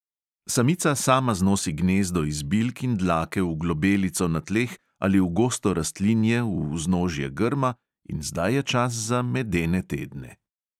Samica sama znosi gnezdo iz bilk in dlake v globelico na tleh ali v gosto rastlinje v vznožje grma in zdaj je čas za "medene tedne".